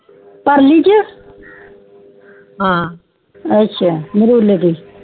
ਪਰਲੀ ਛੇ ਅੱਛਾ ਮਰੁਲੇ ਤੋਂ